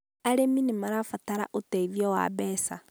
Arĩmi nĩ marabatara ũteithio wa mbeca